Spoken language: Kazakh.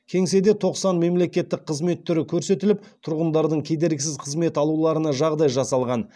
кеңседе тоқсан мемлекеттік қызмет түрі көрсетіліп тұрғындардың кедергісіз қызмет алуларына жағдай жасалған